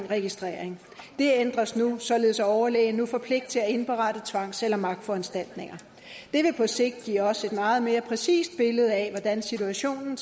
registrering det ændres nu således at overlægen nu får pligt til at indberette tvangs eller magtforanstaltninger det vil på sigt give os et meget mere præcist billede af hvordan situationen